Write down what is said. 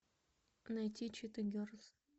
найти чита герлз